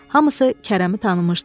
Hamısı Kərəmi tanımışdı.